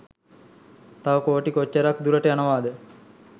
තව කෝටි කොච්චරක් දුරට යනවාද